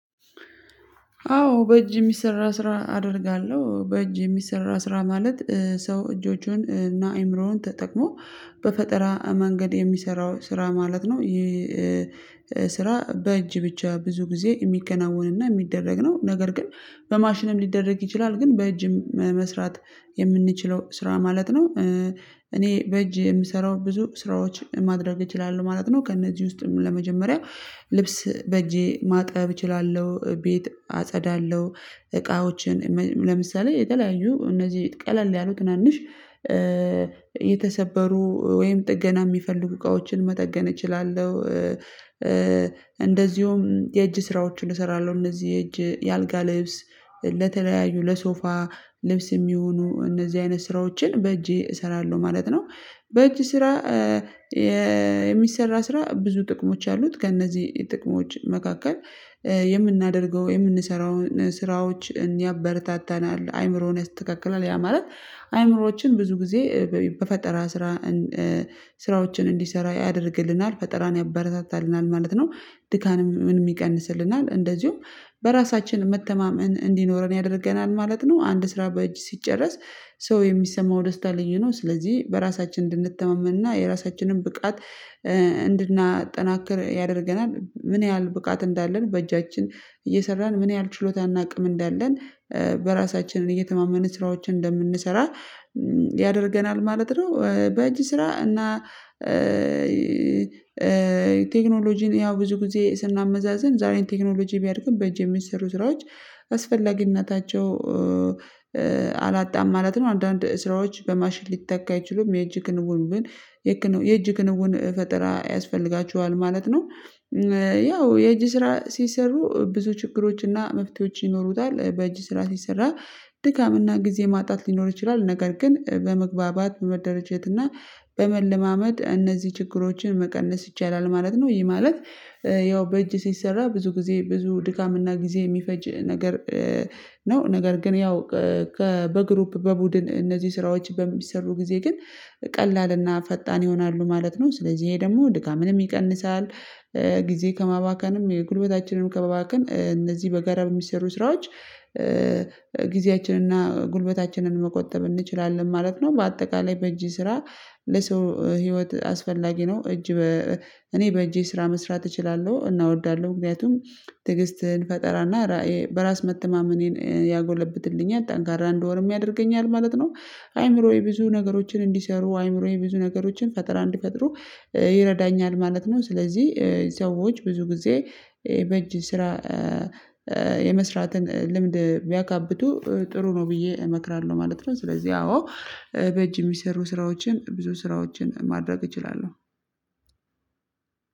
አዎ በእጅ የሚሰራ ስራ አደርጋለሁ። በእጅ የሚሰራ ስራ ማለት ሰው እጆቹን እና አይምሮውን ተጠቅሞ በፈጠራ መንገድ የሚሰራው ስራ ማለት ነው። ስራ በእጅ ብቻ ብዙ ጊዜ የሚከናወንና የሚደረግ ነው። ነገር ግን በማሽንም ሊደረግ ይችላል። ግን በእጅም መስራት የምንችለው ስራ ማለት ነው። እኔ በእጅ የምሰራው ብዙ ስራዎች ማድረግ እችላለሁ ማለት ነው። ከእነዚህ ውስጥም ለመጀመሪያ ልብስ በእጄ ማጠብ እችላለሁ። ቤት አጸዳለሁ። እቃዎችን ለምሳሌ የተለያዩ እነዚህ ቀለል ያሉ ትናንሽ የተሰበሩ ወይም ጥገና የሚፈልጉ እቃዎችን መጠገን እችላለሁ። እንደዚሁም የእጅ ስራዎችን እሰራለሁ። እነዚህ የእጅ የአልጋ ልብስ ለተለያዩ ለሶፋ ልብስ የሚሆኑ እነዚህ አይነት ስራዎችን በእጄ እሰራለሁ ማለት ነው። በእጅ ስራ የሚሰራ ስራ ብዙ ጥቅሞች አሉት። ከእነዚህ ጥቅሞች መካከል የምናደርገው የምንሰራውን ስራዎች እንያበረታታናል። አይምሮን ያስተካክላል። ያ ማለት አይምሮዎችን ብዙ ጊዜ በፈጠራ ስራ ስራዎችን እንዲሰራ ያደርግልናል። ፈጠራን ያበረታታልናል ማለት ነው። ድካም ምንም ይቀንስልናል። እንደዚሁም በራሳችን መተማመን እንዲኖረን ያደርገናል ማለት ነው። አንድ ስራ በእጅ ሲጨረስ ሰው የሚሰማው ደስታ ልዩ ነው። ስለዚህ በራሳችን እንድንተማመንና የራሳችንን ብቃት እንድናጠናክር ያደርገናል። ምን ያህል ብቃት እንዳለን በእጃችን እየሰራን ምን ያህል ችሎታ እና አቅም እንዳለን በራሳችንን እየተማመንን ስራዎችን እንደምንሰራ ያደርገናል ማለት ነው። በእጅ ስራ እና ቴክኖሎጂን ያው ብዙ ጊዜ ስናመዛዝን ዛሬን ቴክኖሎጂ ቢያድግም በእጅ የሚሰሩ ስራዎች አስፈላጊነታቸው አላጣም ማለት ነው። አንዳንድ ስራዎች በማሽን ሊተካ አይችሉም። የእጅ ክንውን ምን የእጅ ክንውን ፈጠራ ያስፈልጋቸዋል ማለት ነው። ያው የእጅ ስራ ሲሰሩ ብዙ ችግሮችና መፍትሄዎች ይኖሩታል። በእጅ ስራ ሲሰራ ድካምና ጊዜ ማጣት ሊኖር ይችላል። ነገር ግን በመግባባት በመደራጀት እና በመለማመድ እነዚህ ችግሮችን መቀነስ ይቻላል ማለት ነው። ይህ ማለት ያው በእጅ ሲሰራ ብዙ ጊዜ ብዙ ድካምና ጊዜ የሚፈጅ ነገር ነው። ነገር ግን ያው ከበግሩፕ በቡድን እነዚህ ስራዎች በሚሰሩ ጊዜ ግን ቀላልና ፈጣን ይሆናሉ ማለት ነው። ስለዚህ ይሄ ደግሞ ድካምንም ይቀንሳል። ጊዜ ከማባከንም የጉልበታችንም ከማባከን እነዚህ በጋራ በሚሰሩ ስራዎች ጊዜያችንን እና ጉልበታችንን መቆጠብ እንችላለን ማለት ነው። በአጠቃላይ በእጅ ስራ ለሰው ህይወት አስፈላጊ ነው። እጅ እኔ በእጅ ስራ መስራት እችላለሁ፤ እናወዳለሁ። ምክንያቱም ትዕግስትን ፈጠራና በራስ መተማመኔን ያጎለብትልኛል። ጠንካራ እንደወርም ያደርገኛል ማለት ነው። አይምሮዬ ብዙ ነገሮችን እንዲሰሩ አይምሮዬ ብዙ ነገሮችን ፈጠራ እንዲፈጥሩ ይረዳኛል ማለት ነው። ስለዚህ ሰዎች ብዙ ጊዜ በእጅ ስራ የመስራትን ልምድ ቢያካብቱ ጥሩ ነው ብዬ እመክራለሁ ማለት ነው። ስለዚህ አዎ በእጅ የሚሰሩ ስራዎችን ብዙ ስራዎችን ማድረግ እችላለሁ።